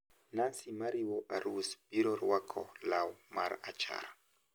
Nancy mariwo arus biro rwako law marachar.